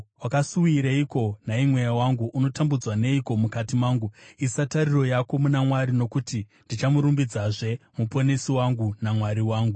Wakasuwireiko, nhai mweya wangu? Unotambudzwa neiko mukati mangu? Isa tariro yako muna Mwari, nokuti ndichamurumbidzazve, Muponesi wangu naMwari wangu.